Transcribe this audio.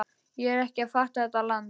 Ég er ekki að fatta þetta land.